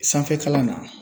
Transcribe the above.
Sanfɛ kalan na